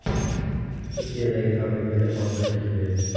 Turkiyadagi fabrikada portlash yuz berdi.